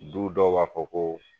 Du dɔw b'a fɔ ko